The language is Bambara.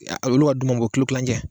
A olu ka duman bɔ kilo tilancɛ